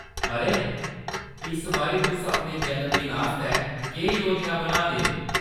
अरे, इस बारी तुस अपने जन्मदिन आस्तै केह्‌‌ योजना बनाऽ दे ओ ?